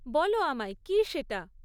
বলো আমায়, কী সেটা?